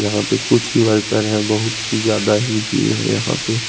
यहा पे कुछ वर्कर है बहुत ही ज्यादा ही भीड़ है यहा पे--